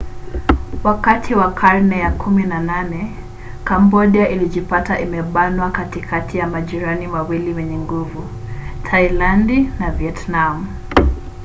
wakati wa karne ya 18 kambodia ilijipata imebanwa katikati mwa majirani wawili wenye nguvu thailandi na vietnam